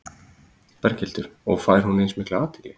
Berghildur: Og fær hún eins mikla athygli?